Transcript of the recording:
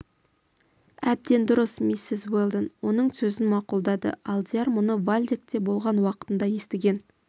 әбден дұрыс миссис уэлдон оның сөзін мақұлдадыалдияр мұны вальдекте болған уақытында естіген